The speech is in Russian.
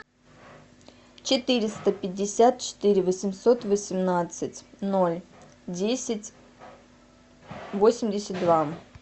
четыреста пятьдесят четыре восемьсот восемнадцать ноль десять восемьдесят два